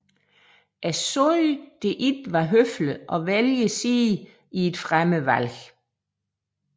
Jeg sagde det ikke var høfligt at vælge side i et fremmed valg